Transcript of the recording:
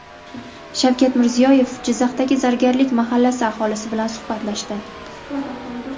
Shavkat Mirziyoyev Jizzaxdagi Zargarlik mahallasi aholisi bilan suhbatlashdi.